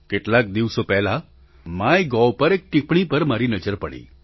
કેટલાક દિવસો પહેલાં માય ગોવ પર એક ટીપ્પણી પર મારી નજર પડી